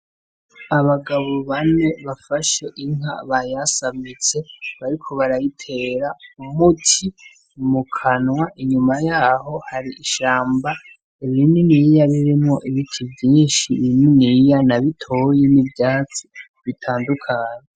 Abagabo bane bafashe inka bayasamitse bariko barayitera umuti mukanwa inyuma yaho hari ishamba rininiya ririmwo ibiti vyinshi bininiya na bitoyi n' ivyatsi bitandukanye.